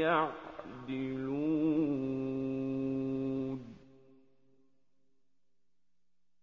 يَعْدِلُونَ